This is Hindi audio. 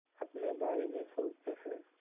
अपने बारे में सोचते हैं